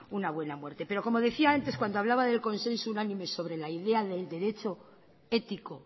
una buena muerte pero como decía antes cuando hablaba del consenso unánime sobre la idea del derecho ético